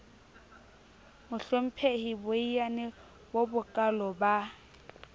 mohlomphehi boiyane bo bokaalo ba